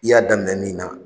I y'a daminɛ min na.